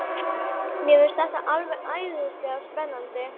Mér finnst þetta alveg æðislega spennandi.